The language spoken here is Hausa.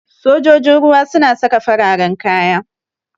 Sojoji ruwa suna saka fararan kaya.